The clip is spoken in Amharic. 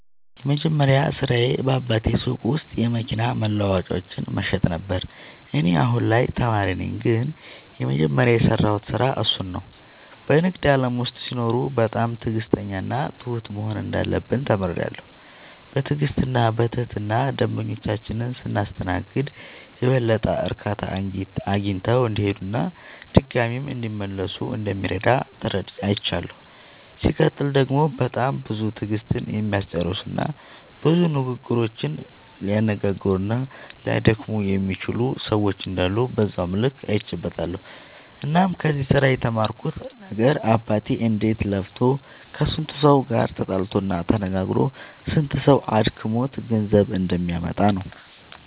የመጀመሪያ ስራዬ በአባቴ ሱቅ ውስጥ የመኪና መለዋወጫዎችን መሸጥ ነበረ። እኔ አሁን ላይ ተማሪ ነኝ ግን የመጀመሪያ የሰራሁት ስራ እሱን ነው። በንግድ ዓለም ውስጥ ሲኖሩ በጣም ትዕግሥተኛና ትሁት መሆን እንዳለብን ተምሬያለሁ። በትዕግሥትና በትህትና ደንበኞቻችንን ስናስተናግድ የበለጠ እርካታ አግኝተው እንዲሄዱና ድጋሚም እንዲመለሱ እንደሚረዳ አይቻለሁ። ሲቀጥል ደግሞ በጣም ብዙ ትዕግሥትን የሚያስጨርሱና ብዙ ንግግሮችን ሊያነጋግሩና ሊያደክሙ የሚችሉ ሰዎች እንዳሉ በዛው ልክ አይቼበትበታለሁ። እናም ከዚህ ስራ የተማርኩት ነገር አባቴ እንዴት ለፍቶ ከስንቱ ሰው ጋር ተጣልቶ ተነጋግሮ ስንቱ ሰው አድክሞት ገንዘብ እንደሚያመጣ ነው።